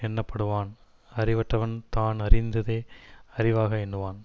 எண்ணப்படுவான் அறிவற்றவன் தான் அறிந்ததே அறிவாக எண்ணுவான்